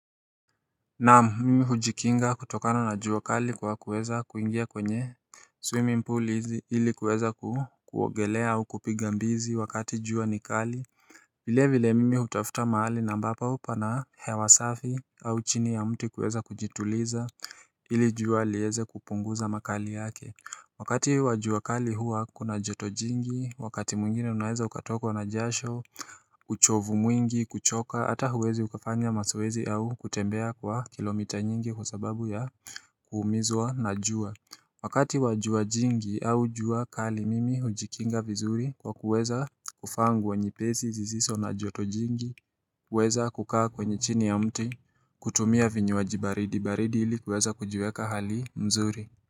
Naam mimi hujikinga kutokana na jua kali kwa kuweza kuingia kwenye swimming pool ili kuweza kuogelea au kupiga mbizi wakati jua ni kali vile vile mimi hutafuta mahali na ambapo pana hewa safi au chini ya mti kuweza kujituliza ili jua liweze kupunguza makali yake wakati wa jua kali huwa kuna joto jingi, wakati mwingine unaweza ukatokwa na jasho, uchovu mwingi, kuchoka, hata huwezi ukafanya mazoezi au kutembea kwa kilomita nyingi kwa sababu ya kuumizwa na jua. Wakati wa jua jingi au jua kali mimi hujikinga vizuri kwa kuweza kuvaa nguo nyepesi zisizo na joto jingi, kuweza kukaa kwenye chini ya mti, kutumia vinywaji baridi, baridi hili kuweza kujiweka hali mzuri.